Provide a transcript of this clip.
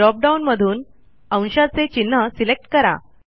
drop down मधून अंशाचे चिन्ह सिलेक्ट करा